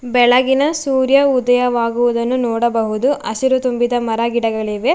ಬೆಳಗಿನ ಸೂರ್ಯ ಉದಯ ವಾಗುವುದನ್ನು ನೋಡಬಹುದು ಹಸಿರು ತುಂಬಿದ ಮರ ಗಿಡಗಳಿವೆ.